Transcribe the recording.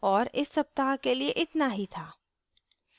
और इस सप्ताह के लिए इतना ही था